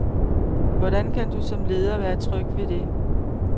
Hvordan kan du, som leder, være tryg ved det?